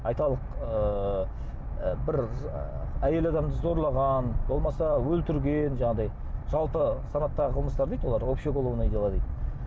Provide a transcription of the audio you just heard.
айталық ыыы бір ы әйел адамды зорлаған болмаса өлтірген жаңағыдай жалпы санаттағы қылмыстар дейді олар общее уголовное дейді